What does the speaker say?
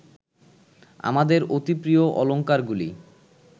আমাদের অতিপ্রিয় অলঙ্কারগুলি